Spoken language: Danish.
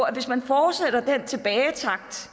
at hvis man fortsætter den tilbagetakt